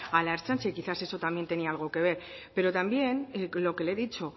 a la ertzaintza y quizás eso también tenía algo que ver pero también lo que le he dicho